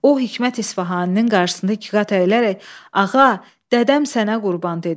O Hikmət İsfahaninin qarşısında ikqat əyilərək, “Ağa, dədəm sənə qurban,” dedi.